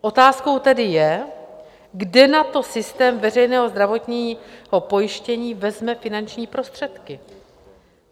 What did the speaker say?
Otázkou tedy je, kde na to systém veřejného zdravotní pojištění vezme finanční prostředky.